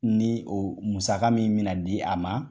Ni o musaka min bi na di a ma